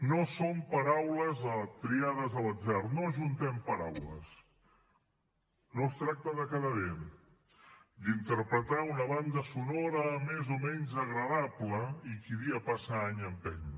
no són paraules triades a l’atzar no ajuntem paraules no es tracta de quedar bé d’interpretar una banda sonora més o menys agradable i qui dia passa any empeny